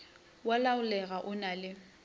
wa laolega o na le